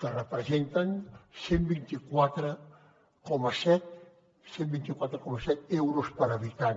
que representen cent i vint quatre coma set cent i vint quatre coma set euros per habitant